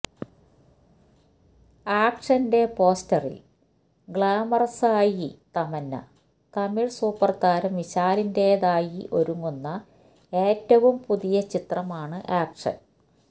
ആക്ഷന്റെ പോസ്റ്ററില് ഗ്ലാമറസായി തമന്ന തമിഴ് സൂപ്പര്താരം വിശാലിന്റെതായി ഒരുങ്ങുന്ന ഏറ്റവും പുതിയ ചിത്രമാണ് ആക്ഷന്